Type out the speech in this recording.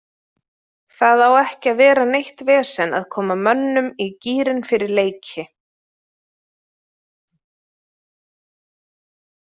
Það á ekki að vera neitt vesen að koma mönnum í gírinn fyrir leiki.